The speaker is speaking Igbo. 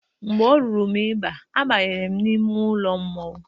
Mgbe o ruru m i ba, abanyere m n'ime ụlọ mmọnwụ.